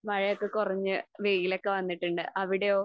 മഴയൊക്കെ കുറഞ്ഞ് വെയിലൊക്കെ വന്നിട്ടുണ്ട്. അവിടെയോ?